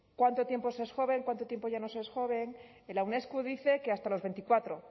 cuánto tiempo se es joven cuánto tiempo ya no se es joven la unesco dice que hasta las veinticuatro